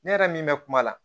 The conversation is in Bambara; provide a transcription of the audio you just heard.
Ne yɛrɛ min bɛ kuma la